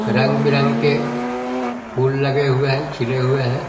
रंग-बिरंग के फूल लगे हुए है छिले हुए हैं।